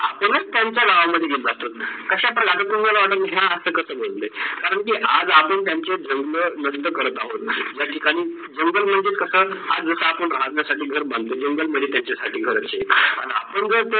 आपणाच त्यांचा गावा मध्ये गेल जातो. कशा प्रकारे हा अस कस बोलते. करण की आज आपन् त्यांचे धर्म वयक करत आहोत. त्या ठिकाणी जीवधर म्हणजे कस, आज जस आपण राहणं साठी घर बनतो जंगल मध्ये त्यांचा साठी घर असते. आणी आपण